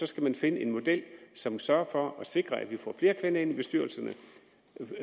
skal man finde en model som sørger for at sikre at vi får flere kvinder ind i bestyrelserne